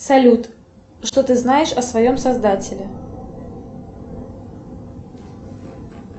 салют что ты знаешь о своем создателе